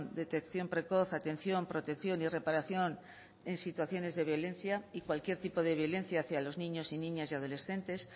detección precoz atención protección y reparación en situaciones de violencia y cualquier tipo de violencia hacia los niños y niñas y adolescentes